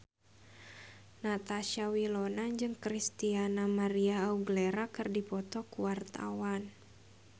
Natasha Wilona jeung Christina María Aguilera keur dipoto ku wartawan